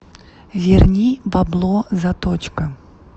верни бабло заточка